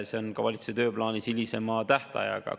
See on ka valitsuse tööplaanis hilisema tähtajaga.